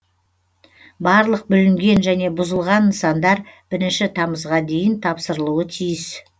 барлық бүлінген және бұзылған нысандар бірінші тамызға дейін тапсырылуы тиіс